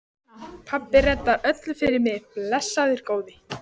Pabbi reddar öllu fyrir mig, blessaður góði.